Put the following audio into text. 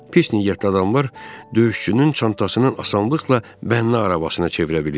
Pis niyyətli adamlar döyüşçünün çantasının asanlıqla bənna arabasına çevirə bilir.